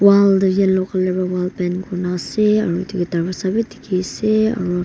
Wall tu yellow colour bra wall paint kurena ase aro etu ke tarvaza beh dekhe ase aro.